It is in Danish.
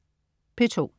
P2: